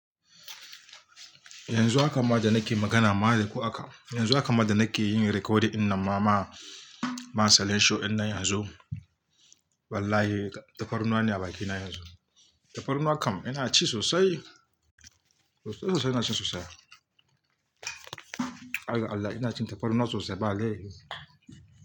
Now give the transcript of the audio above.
Yanzu haka ma da nake magana ma da kuwa haka, yanzu haka ma da nake yin recording ɗin ma, show ina yanzu. Wallahi, tafarnuwa ne a bakina yanzu. Tafarnuwa kam ina ci sosai. Sosai, sosai ina cin sosai. Har gaAllah, ina cin tafarnuwa sosai bale.